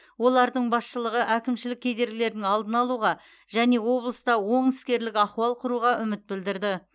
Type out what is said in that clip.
олардың басшылығы әкімшілік кедергілердің алдын алуға және облыста оң іскерлік ахуал құруға үміт білдірді